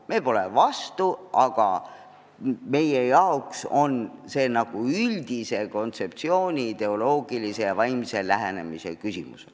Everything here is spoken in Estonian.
Me pole eelnõu vastu, aga meie arvates on see üldise kontseptsiooni, ideoloogilise ja vaimse lähenemise küsimus.